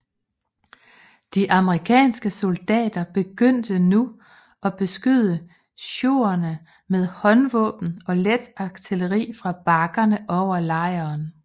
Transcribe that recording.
De amerikanske soldater begyndte nu at beskyde siouxerne med håndvåben og let artilleri fra bakkerne over lejren